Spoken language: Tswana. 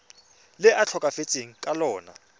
le a tlhokafetseng ka lona